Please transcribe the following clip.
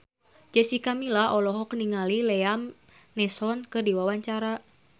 Jessica Milla olohok ningali Liam Neeson keur diwawancara